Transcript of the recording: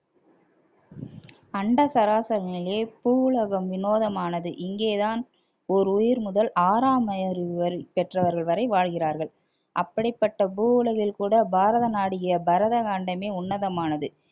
அண்ட சராசரங்களிலே பூவுலகம் வினோதமானது இங்கேதான் ஒரு உயிர் முதல் ஆறாம் அறிவு வரை பெற்றவர்கள் வரை வாழ்கிறார்கள் அப்படிப்பட்ட பூவுலகில் கூட பாரத நாடிய பரத காண்டமே உன்னதமானது